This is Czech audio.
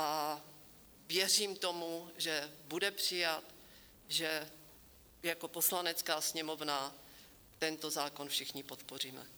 A věřím tomu, že bude přijat, že jako Poslanecká sněmovna tento zákon všichni podpoříme.